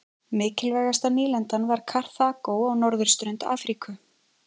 Mikilvægasta nýlendan var Karþagó á norðurströnd Afríku.